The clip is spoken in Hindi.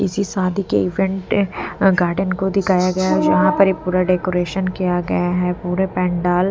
किसी शादी के इवेंट गार्डन को दिखाया गया है जहाँ पर ये पूरा डेकोरेशन किया गया है पूरे पेंडाल --